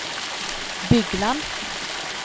Bygland